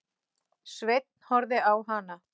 Sveinn horfði á hana.